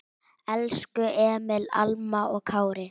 Elsku Emil, Alma og Kári.